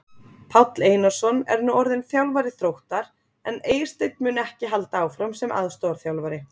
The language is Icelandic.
Páll Einarsson er nú orðinn þjálfari Þróttar en Eysteinn mun ekki halda áfram sem aðstoðarþjálfari.